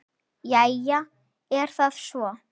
Jæja, er það svo?